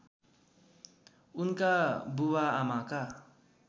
उनका बुवा आमाका